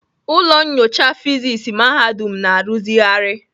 Ụlọ nyocha fịsis mahadum na-arụzigharị